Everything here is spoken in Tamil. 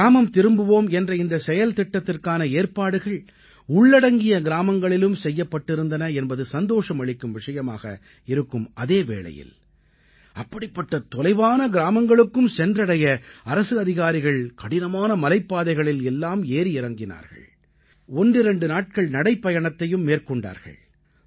கிராமம் திரும்புவோம் என்ற இந்த செயல்திட்டத்திற்கான ஏற்பட்டுகள் உள்ளடங்கிய கிராமங்களிலும் செய்யப்பட்டிருந்தன என்பது சந்தோஷம் அளிக்கும் விஷயமாக இருக்கும் அதே வேளையில் அப்படிப்பட்ட தொலைவான கிராமங்களுக்கும் சென்றடைய அரசு அதிகாரிகள் கடினமான மலைப் பாதைகளில் எல்லாம் ஏறி இறங்கினார்கள் ஒன்றிரண்டு நாட்கள் நடைப்பயணமாகவும் மேற்கொண்டார்கள்